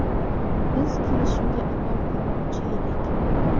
Biz kelishuvga amal qilmoqchi edik.